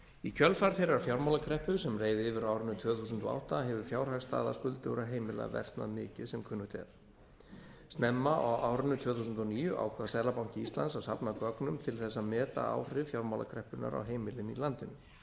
í kjölfar þeirrar fjármálakreppu sem reið yfir á árinu tvö þúsund og átta hefur fjárhagsstaða skuldugra heimila versnað mikið sem kunnugt er snemma á árinu tvö þúsund og níu ákvað seðlabanki íslands að safna gögnum til þess að meta áhrif fjármálakreppunnar á heimilin í landinu